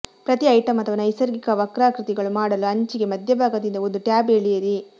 ಪ್ರತಿ ಐಟಂ ಅಥವಾ ನೈಸರ್ಗಿಕ ವಕ್ರಾಕೃತಿಗಳು ಮಾಡಲು ಅಂಚಿಗೆ ಮಧ್ಯಭಾಗದಿಂದ ಒಂದು ಟ್ಯಾಬ್ ಎಳೆಯಿರಿ